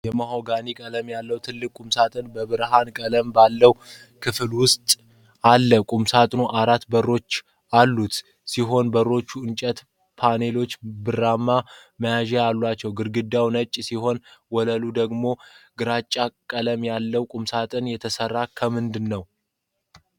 የማሆጋኒ ቀለም ያለው ትልቅ ቁምሳጥን በብርሃን ቀለም ባለው ክፍል ውስጥ አለ። ቁምሳጥኑ አራት በሮች ያሉት ሲሆን፣ በሮቹ የእንጨት ፓነሎችና ብርማ መያዣዎች አሏቸው። ግድግዳው ነጭ ሲሆን፣ ወለሉ ደግሞ ግራጫ ቀለም አለው። ቁምሳጥኑ የተሠራው ክምንድነው?